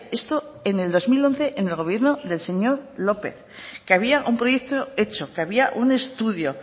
esto en el dos mil once en el gobierno del señor lópez que había un proyecto hecho que había un estudio